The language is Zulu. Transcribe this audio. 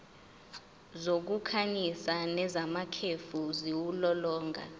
zokukhanyisa nezamakhefu ziwulolonga